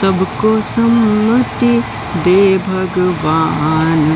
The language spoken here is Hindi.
सबको सन्मति दे भगवान